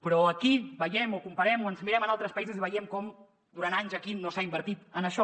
però aquí veiem o comparem o ens mirem en altres països i veiem com durant anys aquí no s’ha invertit en això